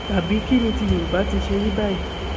tàbí kín ni ti yorùbá ti ṣe rí báyìí